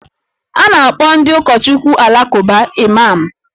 A na-akpọ ndị ụkọchukwu Alakụba Imam